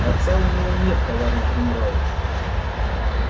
отца у него нет товарищ генерал